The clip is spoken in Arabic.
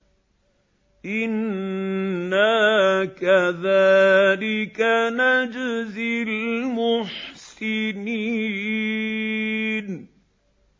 إِنَّا كَذَٰلِكَ نَجْزِي الْمُحْسِنِينَ